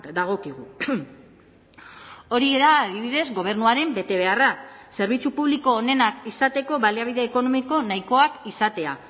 dagokigu hori da adibidez gobernuaren betebeharra zerbitzu publiko onenak izateko baliabide ekonomiko nahikoak izatea